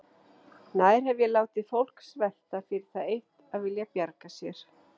Nær hef ég látið fólk svelta fyrir það eitt að vilja bjarga sér?